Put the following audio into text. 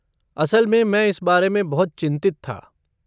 असल में मैं इस बारे में बहुत चिंतित था।